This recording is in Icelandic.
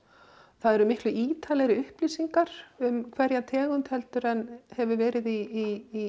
það eru miklu ítarlegri upplýsingar um hverja tegund heldur en hefur verið í